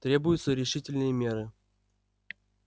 требуются решительные меры